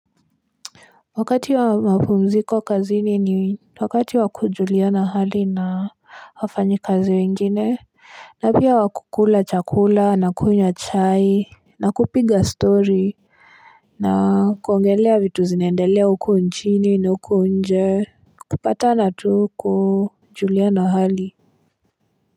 Wakati wa mapumziko kazini ni wakati wa kujuliana hali na wafanyikazi wengine na pia wa kukula chakula na kunywa chai na kupiga story na kuongelea vitu zinaendelea huko nchini na huko nje kupatana tu kujuliana hali.